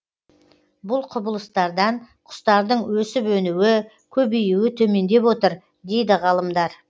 бұл құбылыстардан құстардың өсіп өнуі көбеюі төмендеп отыр дейді ғалымдар